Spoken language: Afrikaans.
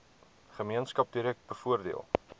gemeenskap direk bevoordeel